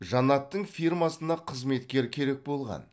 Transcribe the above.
жанаттың фирмасына қызметкер керек болған